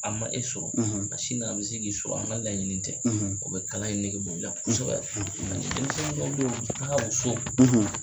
A ma e sɔrɔ ka sin sɔrɔ an ka laɲini tɛ o bɛ kalan in nege bɔ i la kosɛbɛ kosɛbɛ fɛn kelen bɛ yen nɔ an ka musow.